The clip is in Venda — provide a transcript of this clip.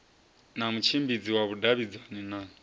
na mutshimbidzi wa vhudavhidzani na